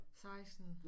16